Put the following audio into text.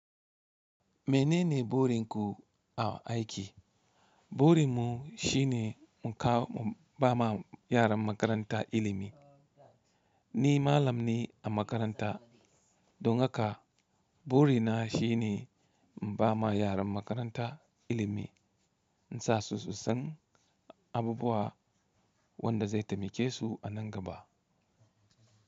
Mene ne burin ku a aiki? Burin mu shine mu ba ma yaran makaranta ilimi. Ni malam ne a makaranta. Don haka buri na shine in ba ma yaran makaranta ilimi. In sa su su san abubuwan wanda zai taimake su a nan gaba.